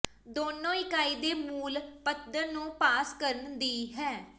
ਦੋਨੋ ਇਕਾਈ ਦੇ ਮੂਲ ਪੱਧਰ ਨੂੰ ਪਾਸ ਕਰਨ ਦੀ ਹੈ